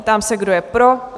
Ptám se, kdo je pro?